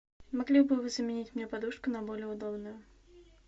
могли бы вы заменить мне подушку на более удобную